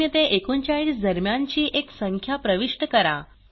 0 ते 39 दरम्यानची एक संख्या प्रविष्ट करा